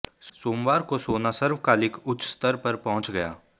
सोमवार को सोना सर्वकालिक उच्च स्तर पर पहुंच गया